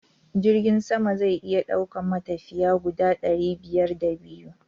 Jirgin sama zai iya daukan matafiya guda ɗari biyar da biyu.